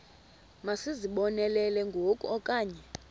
masizibonelele ngoku okanye